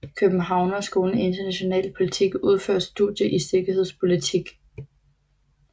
Københavnerskolen i international politik udfører studier i sikkerhedspolitik